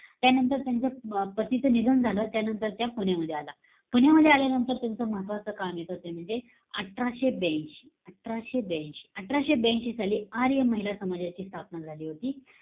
त्यानंतर त्यांच्या अं पतीचं निधन झालं. त्यानंतर त्या पुण्यातमध्ये आला. पुण्यामध्ये आल्यानंतर त्याचं महत्वाचं काम येतं. ते म्हणजे, अठराशे ब्यांशी. अठराशे ब्यांशी. अठराशे ब्यांशी साली, आर्य महिला समाजाची स्थापना झाली होती.